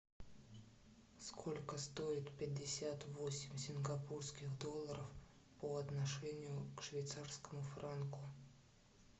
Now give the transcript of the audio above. сколько стоит пятьдесят восемь сингапурских долларов по отношению к швейцарскому франку